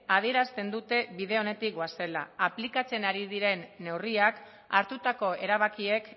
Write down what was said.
adierazten dute bide onetik goazela aplikatzen ari diren neurriak hartutako erabakiek